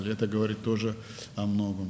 Bu da çox şeydən xəbər verir.